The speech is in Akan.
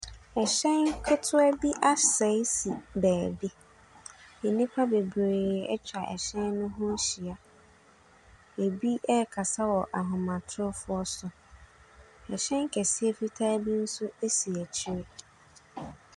Hyɛn ketewa bi asɛe si beebi, nnipa bebree atwa hyɛn ne ho ahyia, bi ɛrekasa wɔ ahomatorofoɔ so, hyɛn kɛse fitaa bi nso asi akyire.